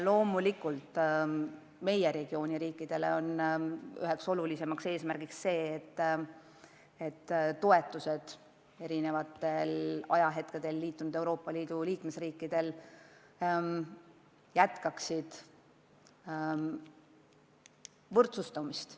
Loomulikult on meie regiooni riikidele üks olulisimaid eesmärke see, et toetused eri ajal Euroopa Liitu astunud riikidele jätkaksid võrdsustumist.